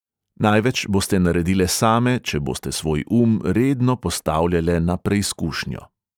Največ boste naredile same, če boste svoj um redno postavljale na preizkušnjo.